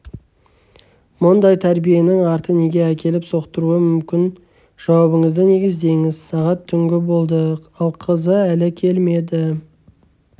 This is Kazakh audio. мұндай тәрбиенің арты неге әкеліп соқтыруы мүмкін жауабыңызды негіздеңіз сағат түнгі болды ал қызы әлі келмеді